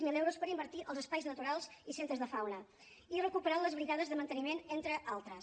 zero euros per invertir als espais naturals i centres de fauna i recuperar les brigades de manteniment entre altres